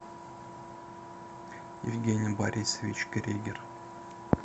евгений борисович кригер